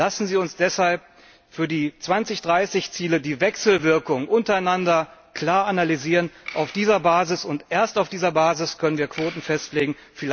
Lassen Sie uns deshalb für die 2030 Ziele die Wechselwirkung untereinander klar analysieren. Auf dieser Basis und erst auf dieser Basis können wir Quoten festlegen.